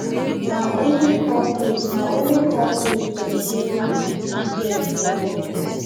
na only corporate na only corporate dem sey make we dear wear for office